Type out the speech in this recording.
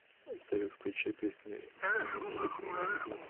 салют включи песню эминема рэп год